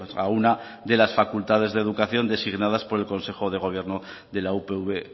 a una de las facultades de educación designadas por el consejo del gobierno de la upv